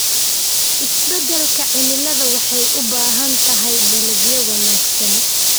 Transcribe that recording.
Isbeddelka cimiladu waxay u baahan tahay dalagyo wanaagsan.